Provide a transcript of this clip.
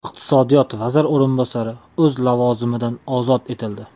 Iqtisodiyot vaziri o‘rinbosari o‘z lavozimidan ozod etildi.